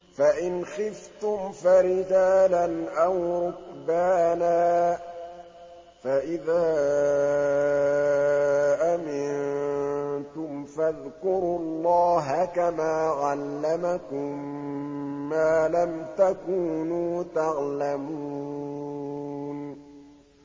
فَإِنْ خِفْتُمْ فَرِجَالًا أَوْ رُكْبَانًا ۖ فَإِذَا أَمِنتُمْ فَاذْكُرُوا اللَّهَ كَمَا عَلَّمَكُم مَّا لَمْ تَكُونُوا تَعْلَمُونَ